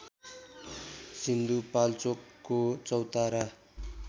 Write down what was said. सिन्धुपाल्चोकको चौतारा